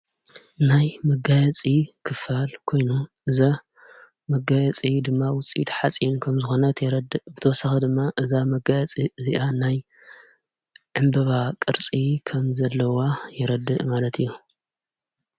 ናይ መጋያፂ ክፋል ኮይ፤ እዛ መጋያፂ ድማ ውፂት ሓጺን ከም ዝኾነት የረድ ብተሳኽ ድማ እዛ መጋያፂ እዚኣ ናይ ዕምበባ ቕርፂ ከም ዘለዋ የረዲ ማለት እዩ።